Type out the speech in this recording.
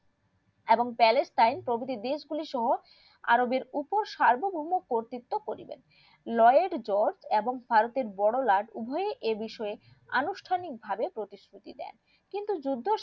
এবং palestine প্র্রভৃতি দেশ গুলো সহো আরবের উপর কর্তৃত্ব করিবেন লো এর জয়ে এবং ভারতের বোরো লাঢ উভয়ে এই বিষয়ে আনুষ্ঠানিক ভাবে প্রতিস্তুতি দেন কিন্তু যুদ্ধ শেষ